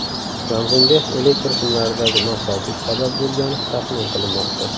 Yong‘inga elektr simlaridagi nosozlik sabab bo‘lgani taxmin qilinmoqda.